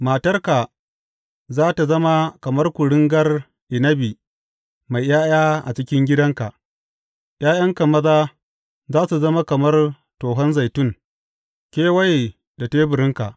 Matarka za tă zama kamar kuringar inabi mai ’ya’ya a cikin gidanka; ’ya’yanka maza za su zama kamar tohon zaitun kewaye da teburinka.